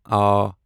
آ